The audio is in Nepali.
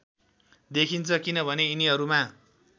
देखिन्छ किनभने यिनीहरूमा